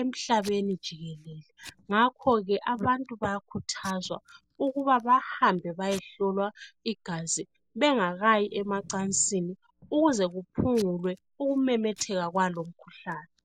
emhlabeni jikelele, ngakhoke abantu bayakhuthazwa ukuba bahambe bayehlolwa igazi bengakayi emacansini, ukuze kuphungulwe ukumemetheka kwalo umkhuhlane.